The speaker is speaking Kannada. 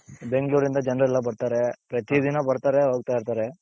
ಬೆಂಗಳೂರಿಂದ ಜನರೆಲ್ಲ ಬರ್ತಾರೆ ಪ್ರತಿ ದಿನ ಬರ್ತಾರೆ ಹೋಗ್ತಾ ಇರ್ತಾರೆ.